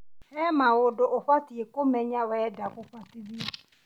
Harĩ maũndũ ũbatiĩ kũmenya wenda gũbatithio